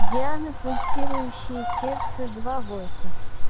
диана пульсирующее сердце два войсов